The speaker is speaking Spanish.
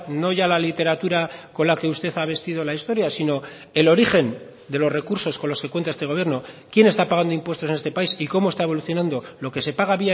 no ya la literatura con la que usted ha vestido la historia sino el origen de los recursos con los que cuenta este gobierno quién está pagando impuestos en este país y cómo está evolucionando lo que se paga